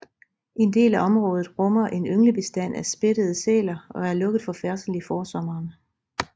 En del af området rummer en ynglebestand af spættede sæler og er lukket for færdsel i forsommeren